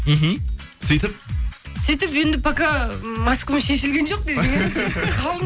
мхм сөйтіп сөйтіп енді пока маскамыз шешілген жоқ десең иә